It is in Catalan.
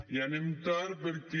i anem tard perquè